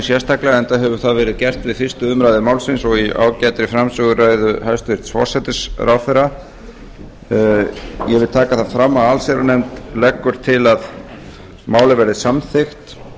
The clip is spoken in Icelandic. sérstaklega enda hefur það verið gert við fyrstu umræðu málsins og í ágætri framsöguræðu hæstvirtur forsætisráðherra ég vil taka það fram að allsherjarnefnd leggur það til að málið verði samþykkt